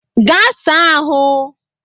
Ga sa ahụ!